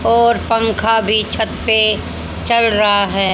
और पंखा भी छत पे चल रहा है